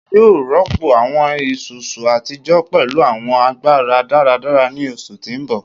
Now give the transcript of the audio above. Ṣe iwọ yoo rọpo awọn isusu atijọ pẹlu awọn agbara-daradara ni oṣu ti n bọ?